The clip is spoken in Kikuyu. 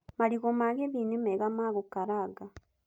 Marigũ ma Kisii nĩ mega ma gũkaranga.